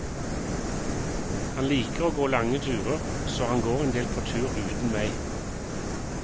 Han liker å gå lange turer, så han går en del på tur uten meg.